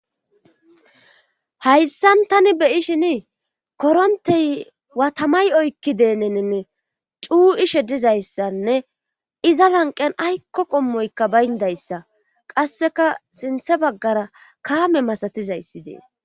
hayssan tani beyishin korontey watamay oykki deneene cuu ishe dizayssanne iza lanqen aykko qommoykka bayndayssa qasseka sinthe baggara kaame masatizayssi dees